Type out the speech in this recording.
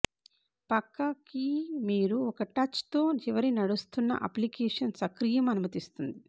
పక్క కీ మీరు ఒక టచ్ తో చివరి నడుస్తున్న అప్లికేషన్ సక్రియం అనుమతిస్తుంది